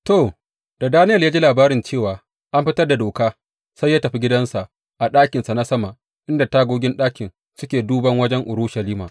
To, da Daniyel ya ji labarin cewa an fitar da doka, sai ya tafi gidansa a ɗakinsa na sama inda tagogin ɗakin suke duban wajen Urushalima.